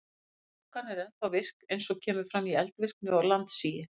Sprungan er ennþá virk eins og kemur fram í eldvirkni og landsigi.